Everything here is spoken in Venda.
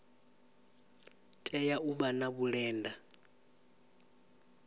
tea u vha na vhulenda